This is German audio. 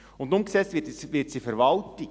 Und umgesetzt wird es in der Verwaltung.